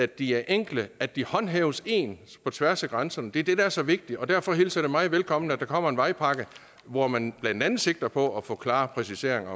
de er enkle at de håndhæves ens på tværs af grænserne det er det der er så vigtigt og derfor hilser jeg meget velkommen at der kommer en vejpakke hvor man blandt andet sigter på at få klare præciseringer